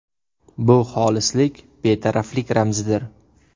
Bu xolislik, betaraflik ramzidir.